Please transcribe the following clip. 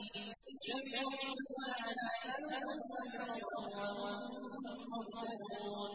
اتَّبِعُوا مَن لَّا يَسْأَلُكُمْ أَجْرًا وَهُم مُّهْتَدُونَ